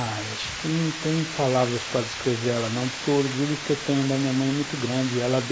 Acho que não tenho palavras para descrever ela, não, porque o orgulho que eu tenho da minha mãe é muito grande. Ela deu